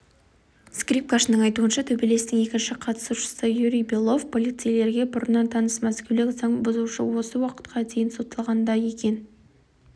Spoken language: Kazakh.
скрипкашының айтуынша төбелестің екінші қатысушысы юрий белов полицейлерге бұрыннан таныс мәскеулік заң бұзушы осы уақытқа дейін сотталған да екен